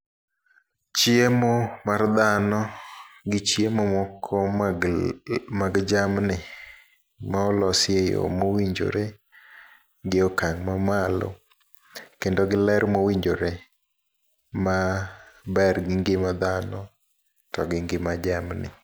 Chiemo mar dhano gi chiemo moko mag l mag jamni, ma olosi e yo mowinjore gi okang' ma malo. Kendo gi ler mowinjore, ma ber gi ngima dhano togi ngima jamni.